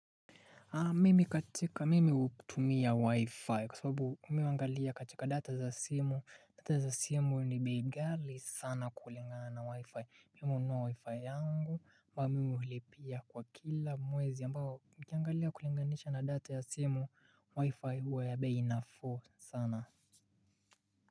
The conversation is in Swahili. Mimi katika mimi hutumia wifi kwa sababu mimi huangalia katika data za simu. Data za simu ni bei ghali sana kulingana na wifi. Mimi hununua wifi yangu ambayo mimi hulipia kwa kila mwezi ambao nikiangalia kulinganisha na data ya simu wifi huwa ya bei nafuu sana.